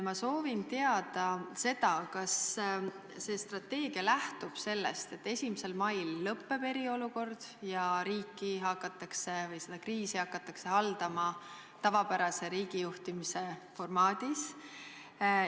Ma soovin teada, kas see strateegia lähtub sellest, et 1. mail lõppeb eriolukord ja kriisi hakatakse haldama tavapärase riigijuhtimise formaadis.